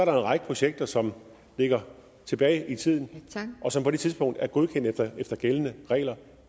en række projekter som ligger tilbage i tiden og som på det tidspunkt er godkendt efter efter gældende regler